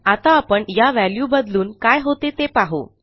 आता आपण या व्हॅल्यू बदलून काय होते ते पाहू